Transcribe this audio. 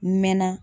Mɛ na